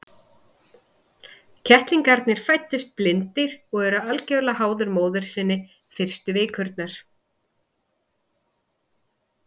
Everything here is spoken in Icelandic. Kettlingarnir fæðast blindir og eru algjörlega háðir móður sinni fyrstu vikurnar.